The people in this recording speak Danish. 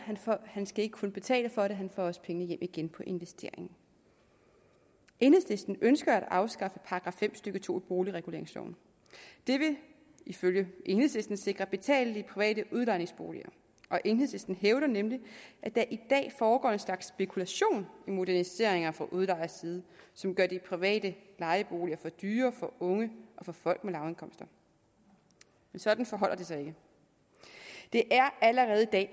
han skal ikke kun betale for det han får også pengene hjem igen på investeringen enhedslisten ønsker at afskaffe § fem stykke to i boligreguleringsloven det vil ifølge enhedslisten sikre betalelige private udlejningsboliger enhedslisten hævder nemlig at der i dag foregår en slags spekulation i moderniseringer fra udlejers side som gør de private lejeboliger for dyre for unge og for folk med lavindkomster men sådan forholder det sig ikke det er allerede i dag